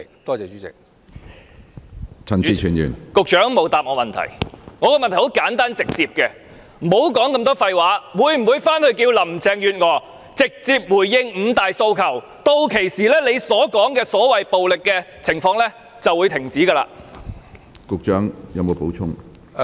我的問題很簡單直接，不要說那麼多廢話，他會否請林鄭月娥直接回應五大訴求，屆時他提到的所謂暴力情況便會停止。